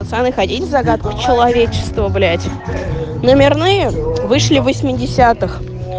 пацаны ходить загадки человечества блять номерные вышли восьмидесятых